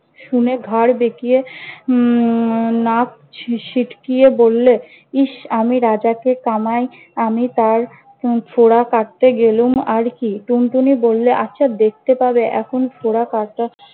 শুনে ঘাড় বেকিয়ে উম নাক সি~ ছিটকিয়ে বললে, ইস আমি রাজাকে কামাই আমি তার উম ফোঁড়া কাটতে গেলুম আর কি? টুনটুনি বললে- আচ্ছা দেখতে পাবে এখন ফোঁড়া কাটা